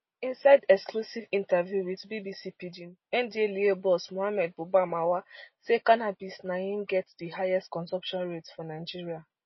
inside exclusive interview with bbc pidgin ndlea boss mohammed buba marwa say cannabis na im get di highest consumption rate for nigeria